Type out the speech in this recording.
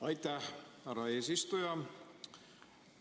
Aitäh, härra eesistuja!